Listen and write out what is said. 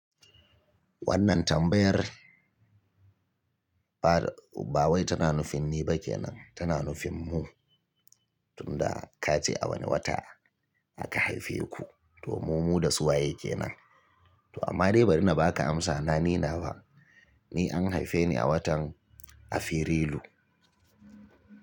Wannan tambayar ba wai tana nufin ni ba ke nan tana nufin mu, tunda ka ce a wane wata aka haife ku, to mu mu da su waye kenan? To amma dai bari na ba ka amsa na ni nawa, ni an haife ni a watan Afrilu.